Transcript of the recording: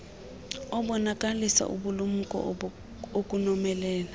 abonakalisa ubulumko ukomelela